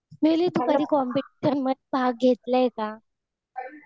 तू कधी कॉम्पटीशन मध्ये भाग घेतलाय का?